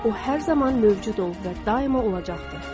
O hər zaman mövcud olub və daima olacaqdı.